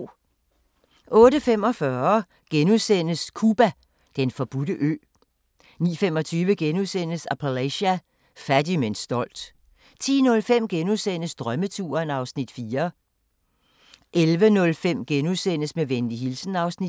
08:45: Cuba: Den forbudte ø * 09:25: Appalachia – fattig, men stolt * 10:05: Drømmeturen (Afs. 4)* 11:05: Med venlig hilsen (Afs. 4)*